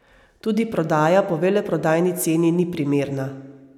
Tudi prodaja po veleprodajni ceni ni primerna.